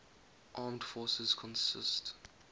armed forces consist